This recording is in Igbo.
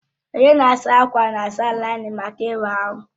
Onye na-asa ákwà na-asa láị́nín maka ịwa ahụ